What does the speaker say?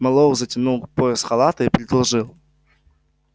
мэллоу затянул пояс халата и предложил